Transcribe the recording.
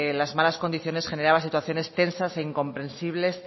las malas condiciones generaba situaciones tensas e incomprensibles